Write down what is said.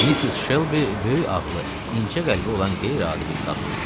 Missis Shelby böyük ağlı, incə qəlbi olan qeyri-adi bir qadın idi.